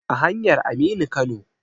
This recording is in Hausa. A hanyar Aminu Kano.